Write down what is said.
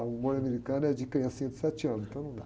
americano é de criança de sete anos, então não dá.